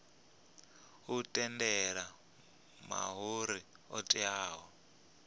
u tendela mahoro othe a